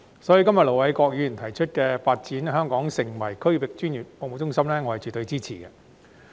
所以，今天盧偉國議員提出"發展香港成為區域專業服務中心"的議案，我絕對支持。